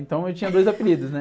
Então eu tinha dois apelidos, né?